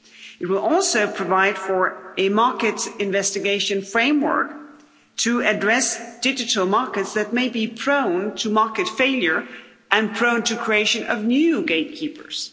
It will also provide for a market investigation framework to address digital markets that may be prone to market failure and prone to the creation of new gatekeepers.